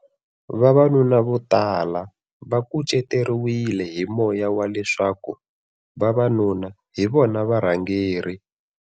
Vavanuna lava vo tala va kuceteriwile hi moya wa leswaku vavanuna hi vona varhangeri.